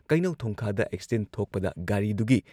ꯀꯩꯅꯧ ꯊꯣꯡꯈꯥꯗ ꯑꯦꯛꯁꯤꯗꯦꯟꯠ ꯊꯣꯛꯄꯗ ꯒꯥꯔꯤꯗꯨꯒꯤ